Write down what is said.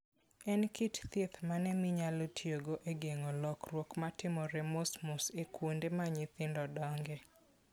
En kit thieth mane minyalo tiyogo e geng'o lokruok matimore mosmos e kuonde ma nyithindo dongoe?